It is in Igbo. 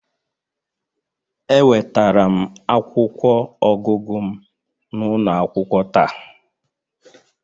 Ewetara m akwụkwọ ọgụgụ m n'ụlọ akwụkwọ taa